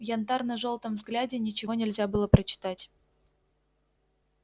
в янтарно-жёлтом взгляде ничего нельзя было прочитать